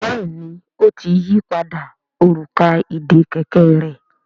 Béèni o tí yí pàdà Òrùka ìdè kẹ̀kẹ́ rẹ.